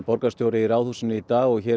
borgarstjóri í Ráðhúsinu í dag hér